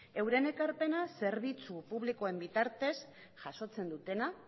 euren ekarpena zerbitzu publikoen bitartez jasotzen dutena